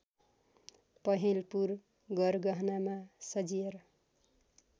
पहेँलपुर गरगहनामा सजिएर